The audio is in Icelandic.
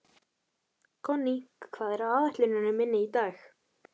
Konný, hvað er á áætluninni minni í dag?